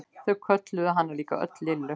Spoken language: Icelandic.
Þau kölluðu hana líka öll Lillu.